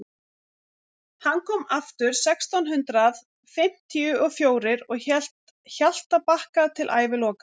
hann kom aftur sextán hundrað fimmtíu og fjórir og hélt hjaltabakka til æviloka